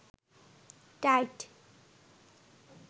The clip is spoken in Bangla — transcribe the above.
টাইট